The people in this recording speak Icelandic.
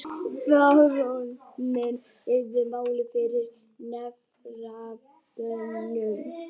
Baróninn reifaði málið fyrir nefndarmönnum.